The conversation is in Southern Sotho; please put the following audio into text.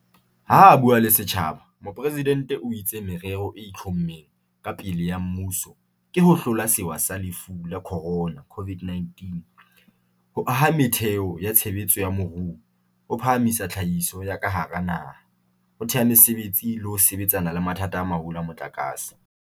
Ha a bua le setjhaba, Mopresidente o itse merero e itlhommeng ka pele ya mmuso ke ho hlola sewa sa Lefu la Khorona, COVID-19, ho aha metheo ya tshebetso ya moruo, ho phahamisa tlhahiso ya ka hara naha, ho thea mesebetsi le ho sebetsana le mathata a maholo a motlakase.